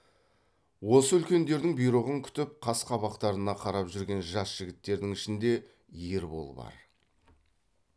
осы үлкендердің бұйрығын күтіп қас қабақтарына қарап жүрген жас жігіттердің ішінде ербол бар